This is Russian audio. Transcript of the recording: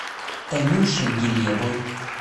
танюшей гилевой